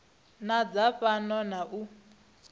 na dza fhano na u